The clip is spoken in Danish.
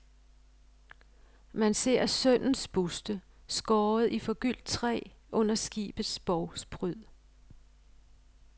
Man ser sønnens buste, skåret i forgyldt træ, under skibets bovspryd.